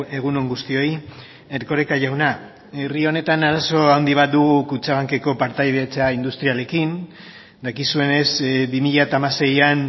egun on guztioi erkoreka jauna herri honetan arazo handi bat dugu kutxabankeko partaidetza industrialekin dakizuenez bi mila hamaseian